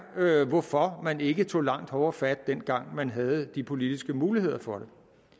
hvorfor man ikke tog langt hårdere fat dengang man havde de politiske muligheder for